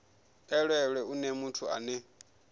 elelwe u nea muthu ane